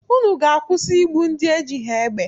Unu ga-akwụsị igbu ndị ejighị egbe!